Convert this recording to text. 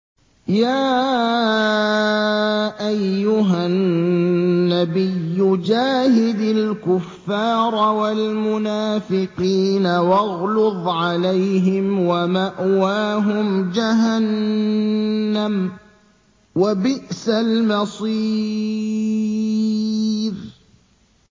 يَا أَيُّهَا النَّبِيُّ جَاهِدِ الْكُفَّارَ وَالْمُنَافِقِينَ وَاغْلُظْ عَلَيْهِمْ ۚ وَمَأْوَاهُمْ جَهَنَّمُ ۖ وَبِئْسَ الْمَصِيرُ